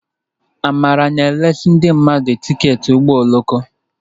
Amara na-eresị ndị mmadụ tiketi ụgbọ oloko.